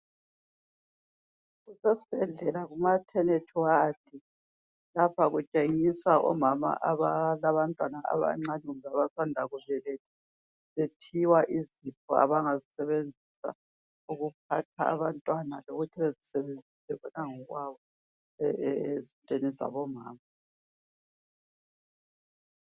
Kusesibhedlela kumaternity ward. Lapha kutshengiswa omama abalabantwana abancane loba abasanda kubeletha, bephiwa izipho abangazisebenzisa ukuphatha abantwana lokuthi bezisebenzise bona ngokwabo ezintweni zabomama.